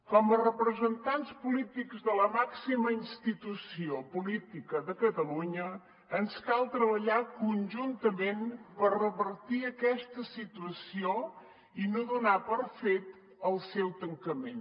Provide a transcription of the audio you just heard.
com a representants polítics de la màxima institució política de catalunya ens cal treballar conjuntament per revertir aquesta situació i no donar per fet el seu tancament